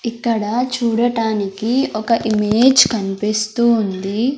ఇక్కడ చూడటానికి ఒక ఇమేజ్ కన్పిస్తూ ఉంది.